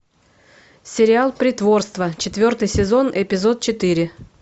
сериал притворство четвертый сезон эпизод четыре